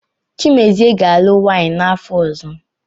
Chimezie ga-alụ nwaanyị n’afọ ọzọ.